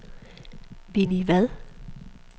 Winnie Vad